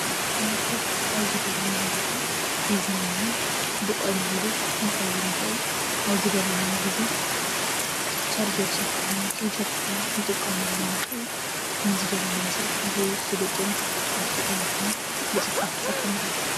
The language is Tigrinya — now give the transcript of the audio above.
ላፕቶፕ ኣብ ዝደለናዮ ቦታ ሒዝናዮን ብቐሊሉ ክንከይድ ንኽእል:: ኣብ ዝደለናዮ ጊዜ ቻርጀር ሸኩዕና ከይሸኳዕና ክንጥቀመሉ ንኽእል ንዝደለናዮ ስራሕ ብስሉጥን ብፍጥነትን ብፅፈት ዝሰርሐልና እዩ፡፡